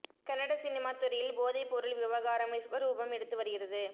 Kannada cinema துறையில் போதைப் பொருள் விவகாரம் விஸ்வரூபம் எடுத்து வருகிறது